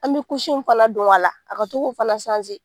An be kusi mun fana don a la, a ka to k'o fana sanze.